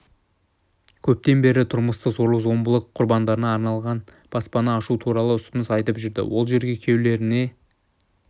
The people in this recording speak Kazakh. көптен бері тұрмыстық зорлық-зомбылық құрбандарына арналған баспана ашу туралы ұсыныс айтап жүрді ол жерге күйеулеріне